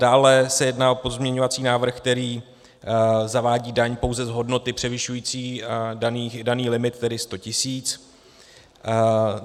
Dále se jedná o pozměňovací návrh, který zavádí daň pouze z hodnoty převyšující daný limit, tedy 100 tisíc.